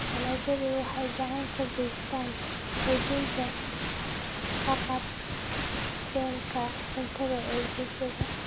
Dalagyadu waxay gacan ka geystaan ??xoojinta haqab-beelka cuntada ee bulshada.